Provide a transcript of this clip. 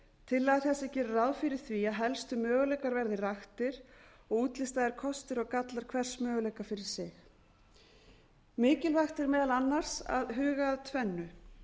tillaga þessi gerir ráð fyrir því að helstu möguleikar verði raktir og útlistaðir kostir og gallar hvers möguleika fyrir sig mikilvægt er meðal annars að huga að tvennu